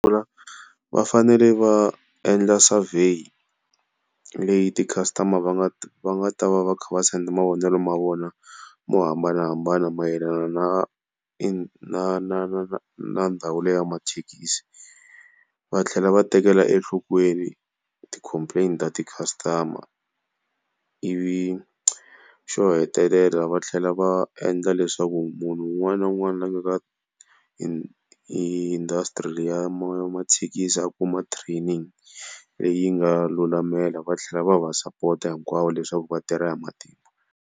Vafanele va endla survey leyi ti-customer va nga va nga ta va va kha va send mavonelo ma vona mo hambanahambana mayelana na i na na ndhawu liya ya mathekisi. Va tlhela va tekela enhlokweni ti-complain-i ta ti-customer, ivi xo hetelela va tlhela va endla leswaku munhu un'wana na un'wana la nga ka industry liya ya mathekisi a kuma training leyi nga lulamisela va tlhela va va sapota hinkwavo leswaku vatirha hi matimba.